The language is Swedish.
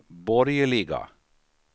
borgerliga